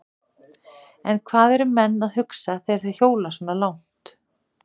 En hvað eru menn að hugsa þegar þeir hjóla svona langt?